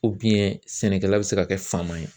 sɛnɛkɛla bɛ se ka kɛ fama ye